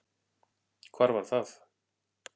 Hvar var það?